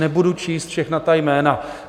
Nebudu číst všechna ta jména.